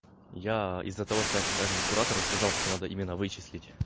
я из-за того что я как раз и не куратор я сказал что надо именно вычислить